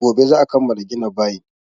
Gobe za a kammala gina bayin.